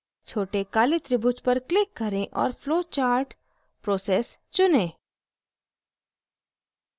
छोटे काले त्रिभुज पर click करें और flowchart: process चुनें